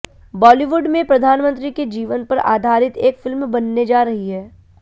बॉलीवुड में प्रधानमंत्री के जीवन पर आधारित एक फिल्म बनने जा रही है